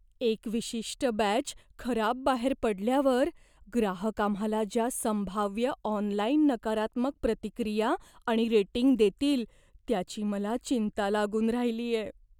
एक विशिष्ट बॅच खराब बाहेर पडल्यावर ग्राहक आम्हाला ज्या संभाव्य ऑनलाइन नकारात्मक प्रतिक्रिया आणि रेटिंग देतील, त्याची मला चिंता लागून राहिलीये.